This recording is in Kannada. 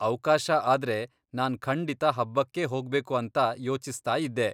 ಅವ್ಕಾಶ ಆದ್ರೆ ನಾನ್ ಖಂಡಿತ ಹಬ್ಬಕ್ಕೇ ಹೋಗ್ಬೇಕು ಅಂತ ಯೋಚಿಸ್ತಾಯಿದ್ದೆ.